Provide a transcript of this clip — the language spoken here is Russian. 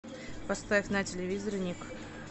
поставь на телевизоре ник